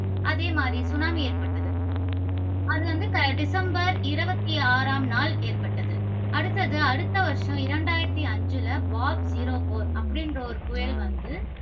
அதே மாதிரி சுனாமி ஏற்பட்டது. அது வந்து, டிசம்பர் இருபத்தி ஆறாம் நாள் ஏற்பட்டது. அடுத்தது, அடுத்த வருஷம் இரண்டாயிரத்தி ஐந்தில பாப் zero four அப்படிங்கிற ஒரு புயல் வந்து